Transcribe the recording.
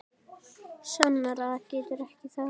Sannara getur það ekki orðið.